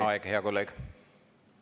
Aeg, hea kolleeg!